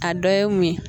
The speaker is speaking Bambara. A dɔ ye mun ye